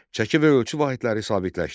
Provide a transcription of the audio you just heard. Çəki və ölçü vahidləri sabitləşdi.